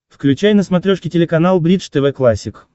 включай на смотрешке телеканал бридж тв классик